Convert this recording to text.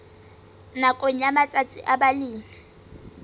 nakong ya matsatsi a balemi